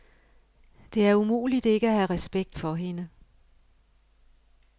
Det er umuligt ikke at have respekt for hende.